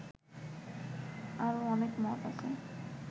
আরও অনেক মত আছে